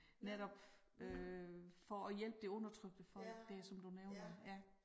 Netop øh for at hjælpe det undertrykte folk dér som du nævner ja